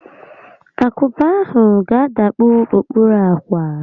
Akupe ahụ ga-adakpu okpuru ákwà